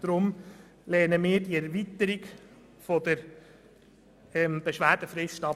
Deshalb lehnen wir die Erweiterung der Beschwerdefrist ab.